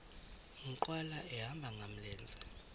nkqwala ehamba ngamlenze